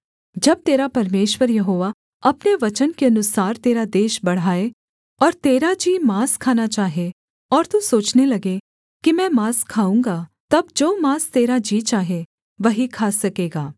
जब तेरा परमेश्वर यहोवा अपने वचन के अनुसार तेरा देश बढ़ाए और तेरा जी माँस खाना चाहे और तू सोचने लगे कि मैं माँस खाऊँगा तब जो माँस तेरा जी चाहे वही खा सकेगा